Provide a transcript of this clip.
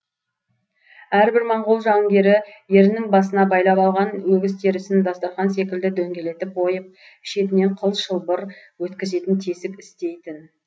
әрбір монғол жауынгері ерінің басына байлап алған өгіз терісін дастарқан секілді дөңгелетіп ойып шетінен қыл шылбыр өткізетін тесік істейтін